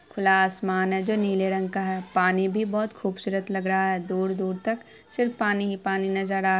खुला आसमान है जो नीले रंग का है पानी भी बहोत खूबसूरत लगा रहा है दूर-दूर तक सिर्फ पानी ही पानी नजर आ --